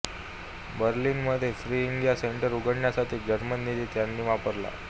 बर्लिनमध्ये free India centre उघडण्यासाठी German निधी त्यांनी वापरला